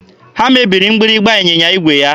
Ha mebiri mgbịrịgba ịnyịnya igwe ya.